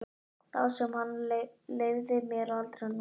Þá sem hann leyfði mér aldrei að nota.